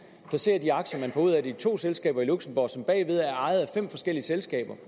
placerer de aktier man får ud af det i to selskaber i luxembourg som bagved er ejet af fem forskellige selskaber